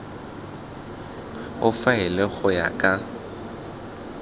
o faele go ya ka